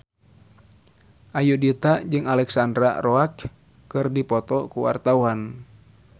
Ayudhita jeung Alexandra Roach keur dipoto ku wartawan